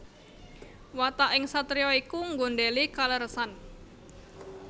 Wataking satriya iku nggondhèli kaleresan